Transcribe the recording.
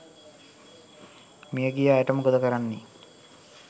මියගිය අයට මොකද කරන්නේ?